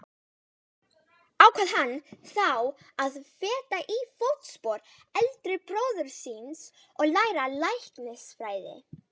Það getur átt sér stað á nokkra vegu, en uppstreymi er langalgengasta ástæða skýjamyndunar.